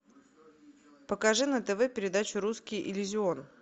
покажи на тв передачу русский иллюзион